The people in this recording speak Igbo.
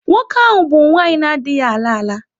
Nwoke ahụ bụ nwanyị na-adịghị ala ala.